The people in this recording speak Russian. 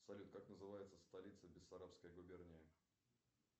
салют как называется столица бессарабской губернии